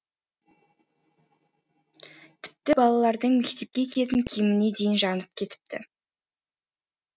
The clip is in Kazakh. тіпті балалардың мектепке киетін киіміне дейін жанып кетіпті